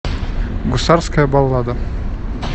гусарская баллада